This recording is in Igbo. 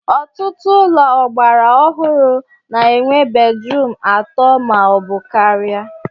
Ọtụtụ ụlọ ọgbara ọhụrụ na-enwe bedrum atọ ma ọ bụ karịa